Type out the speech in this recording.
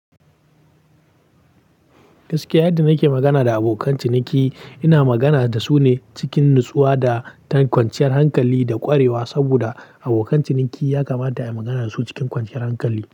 Gaskiya yadda nake magana da abokan ciniki, ina magana da su ne cikin nutsuwa da kwanciyar hankali da ƙwarewa. Saboda abokan ciniki ya kamata a yi magana da su cikin kwanciyar hankali.